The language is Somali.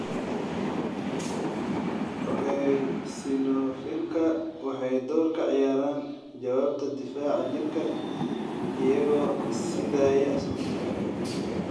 Eosinophilka waxay door ka ciyaaraan jawaabta difaaca jirka iyagoo siidaaya sunta.